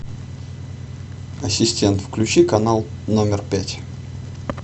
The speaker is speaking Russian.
ассистент включи канал номер пять